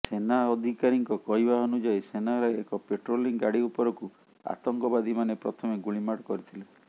ସେନା ଅଧିକାରୀଙ୍କ କହିବା ଅନୁଯାୟୀ ସେନାର ଏକ ପାଟ୍ରୋଲିଂ ଗାଡି ଉପରକୁ ଆତଙ୍କବାଦୀମାନେ ପ୍ରଥମେ ଗୁଳିମାଡ କରିଥିଲେ